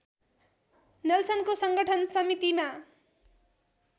नेल्सनको सङ्गठन समितिमा